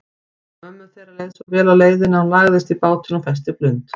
Mömmu þeirra leið svo vel á leiðinni að hún lagðist í bátinn og festi blund.